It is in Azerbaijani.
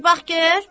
Bir bax gör.